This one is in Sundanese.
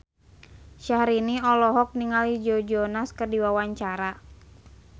Syahrini olohok ningali Joe Jonas keur diwawancara